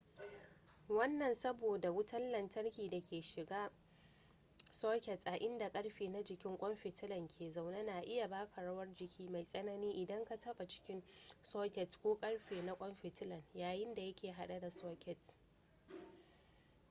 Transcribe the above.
wannan saboda wutan lantarki da ke shigan socket a inda karfe na jikin kwan fitila ke zaune na iya baka rawar jiki mai tsanani idan ka taba cikin socket ko karfe na kwan fitilan yayinda yake hade da socket